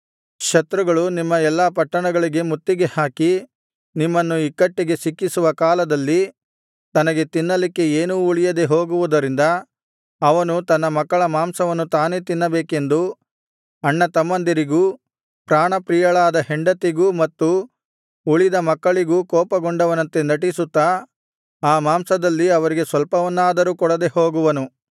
ಶತ್ರುಗಳು ನಿಮ್ಮ ಎಲ್ಲಾ ಪಟ್ಟಣಗಳಿಗೆ ಮುತ್ತಿಗೆಹಾಕಿ ನಿಮ್ಮನ್ನು ಇಕ್ಕಟ್ಟಿಗೆ ಸಿಕ್ಕಿಸುವ ಕಾಲದಲ್ಲಿ ತನಗೆ ತಿನ್ನಲಿಕ್ಕೆ ಏನೂ ಉಳಿಯದೆ ಹೋಗುವುದರಿಂದ ಅವನು ತನ್ನ ಮಕ್ಕಳ ಮಾಂಸವನ್ನು ತಾನೇ ತಿನ್ನಬೇಕೆಂದು ಅಣ್ಣತಮ್ಮಂದಿರಿಗೂ ಪ್ರಾಣಪ್ರಿಯಳಾದ ಹೆಂಡತಿಗೂ ಮತ್ತು ಉಳಿದ ಮಕ್ಕಳಿಗೂ ಕೋಪಗೊಂಡವನಂತೆ ನಟಿಸುತ್ತಾ ಆ ಮಾಂಸದಲ್ಲಿ ಅವರಿಗೆ ಸ್ವಲ್ಪವನ್ನಾದರೂ ಕೊಡದೆ ಹೋಗುವನು